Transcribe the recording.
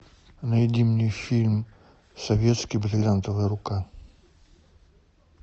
найди мне фильм советский бриллиантовая рука